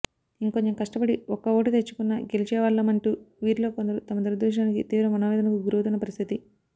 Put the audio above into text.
ఇంకొంచెం కష్టపడి ఒక్క ఓటు తెచ్చుకున్నా గెలిచేవాళ్లమంటూ వీరిలో కొందరు తమ దురదృష్టానికి తీవ్ర మనోవేదనకు గురవుతున్న పరిస్థితి